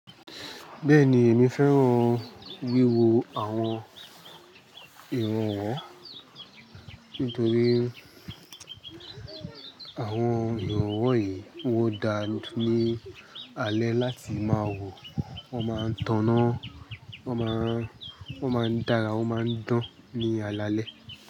Bẹ́ẹ̀ni, èmi fẹ́ràn wíwọ awọn ìràwọ́ nítorí àwon ìràwọ́ yìí wọn dá ní alẹ́ láti máa wò, won máa ń taná, won máa ń dára, won máa ń dán ní alaalẹ́